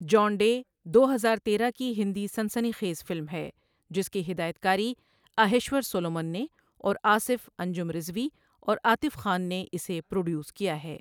جان Day دو ہزار تیرہ کی ہندی سنسنی خیز فلم ہے جس کی ہدایت کاری اہیشور سولومن نے اور آصف، انجم رضوی اور عاطف خان نے اسے پروڈیوس کیا ہے۔